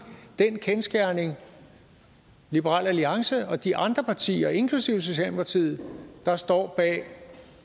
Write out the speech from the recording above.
den kendsgerning liberal alliance og de andre partier inklusive socialdemokratiet der står bag